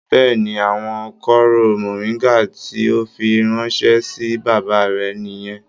Bẹ́ẹ̀ni, àwọn kooro moringa tí o fí ránṣẹ sí bàbá rẹ niyẹn.